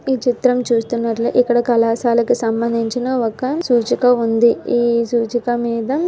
ఈ చిత్రం చూస్తున్నట్లే ఇక్కడ కళాశాల సంబందించిన ఒక సూచిక ఉంది. ఈ సూచిక మీద --